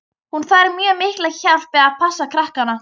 Hún þarf mjög mikla hjálp við að passa krakkana.